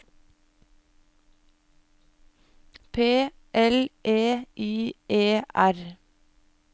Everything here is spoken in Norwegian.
P L E I E R